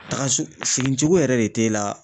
Taga so segin cogo yɛrɛ de t'e la.